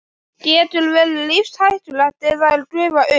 Getur verið lífshættulegt ef þær gufa upp.